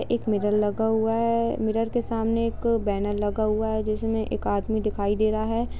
एक मिरर लगा हुआ है मिरर के सामने एक बैनर लगा हुआ है जिसमें एक व्यक्ति दिखाई दे रहा है।